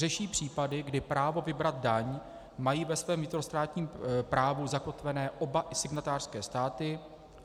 Řeší případy, kdy právo vybrat daň mají ve svém vnitrostátním právu zakotvené oba signatářské státy.